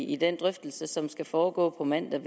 i den drøftelse som skal foregå på mandag